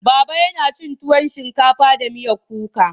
Baba yana cin tuwon shinkafa da miyar kuka.